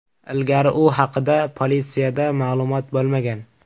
Ilgari u haqida politsiyada ma’lumot bo‘lmagan.